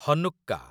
Hanukkah